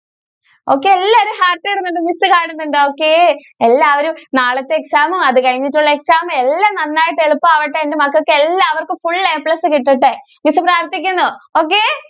okay എല്ലാരും happy ആണ് miss കാണുന്നുണ്ട് okay എല്ലാവരും നാളത്തെ exam ഉം അത് കഴിഞ്ഞിട്ടുള്ള exam ഉം എല്ലാം നന്നായിട്ട് എളുപ്പം ആവട്ടെ. എന്റെ മക്കൾക്ക് എല്ലാവർക്കും Full A plus കിട്ടട്ടെ miss പ്രാർത്ഥിക്കുന്നു. okay.